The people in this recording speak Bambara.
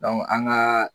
an ka